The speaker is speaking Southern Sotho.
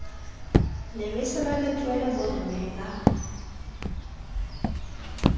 lebese la letswele bomme ba